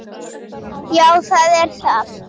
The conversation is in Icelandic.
Já, það er það.